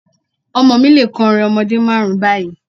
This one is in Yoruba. Ọmọ mi lè kọrin ọmọdé márùn-ún báyìí.